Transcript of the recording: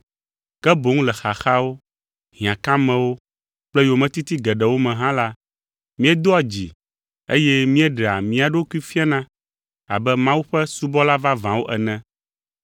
Ke boŋ le xaxawo, hiãkamewo kple yometiti geɖewo me hã la, míedoa dzi eye míeɖea mía ɖokui fiana abe Mawu ƒe subɔla vavãwo ene.